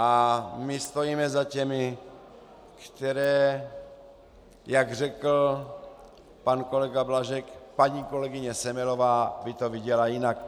A my stojíme za těmi, které - jak řekl pan kolega Blažek, paní kolegyně Semelová by to viděla jinak.